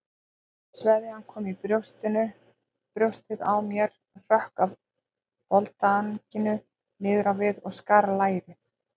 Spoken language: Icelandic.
Sveðjan kom í brjóstið á mér, hrökk af boldanginu niður á við og skar lærið.